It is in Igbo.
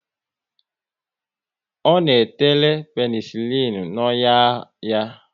Ọ na tere penesilin n'ọnyà ya